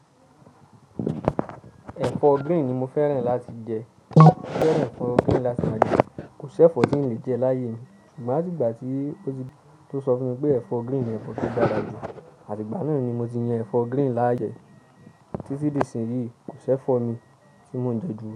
Ẹ̀fọ́ green ni mo fẹ́ràn láti jẹ. Mo fẹ́ràn ẹ̀fọ́ green láti máa jẹ. Kò sí ẹ̀fọ́ tí ń lè jẹ láyé mi. Ṣùgbọ́n atígbà tí ó ti, tó sọ fún mi pé ẹ̀fọ́ green ni ẹ̀fọ́ tó dára jù, àti ìgbà náà ni mo ti yan ẹ̀fọ́ green láyè. Títí di ìsìn yìí, kò sí ẹ̀fọ́ mi tí mo ń jẹ ju.